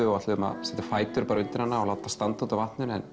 og ætluðum að setja fætur undir hana og láta það standa á vatninu en